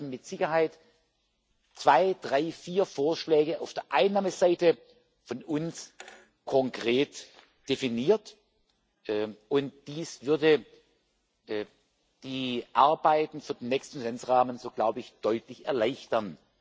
Aber es werden mit Sicherheit zwei, drei, vier Vorschläge auf der Einnahmenseite von uns konkret definiert, und dies würde die Arbeiten für den nächsten Finanzrahmen, so glaube ich, deutlich erleichtern.